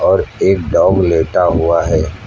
और एक डॉग लेटा हुआ है।